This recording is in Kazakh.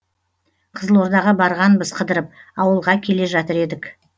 қызылордаға барғанбыз қыдырып ауылға келе жатыр едік